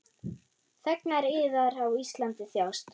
Þegnar yðar á Íslandi þjást.